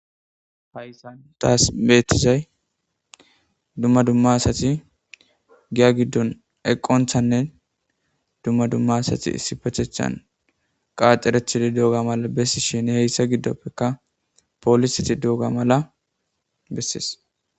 Hayssan taas betizay dumma dumma asati giya giddon eqqonthanne dumma dumma asati issippeteththan qaaxerethidi dooga mala bessishinne heyssa giddoppekka poolisiti dooga mala bessees.